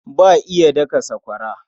Ba iya daka sakwara.